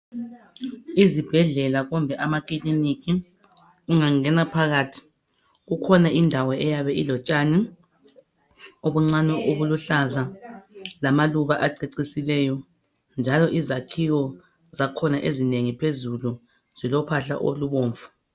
Izibhedlela kumbe amakilinika ungangena phakathi kukhona indawo eziyabe zilotshani njalo izakhiwo zankhona ezinengi ziyabe zilophahla olubomvu gebhu.